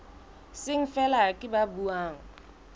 seng feela ke ba buang